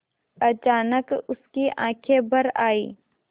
अचानक उसकी आँखें भर आईं